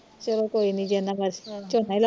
ਚਲੋ ਕੋਈ ਨੀ ਝੋਨਾ ਈ ਲਾਓਣਾ